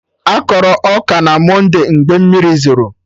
Akọrọ ọka na monde mgbe mmiri zoro